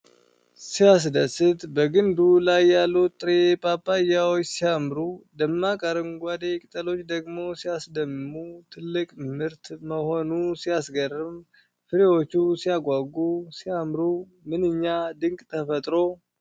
ሲያስደስት! በግንዱ ላይ ያሉት ጥሬ ፓፓያዎች ሲያምሩ! ደማቅ አረንጓዴ ቅጠሎች ደግሞ ሲያስደምሙ! ትልቅ ምርት መሆኑ ሲያስገርም! ፍሬዎቹ ሲያጓጉ! ሲያምሩ! ምንኛ ድንቅ ተፈጥሮ!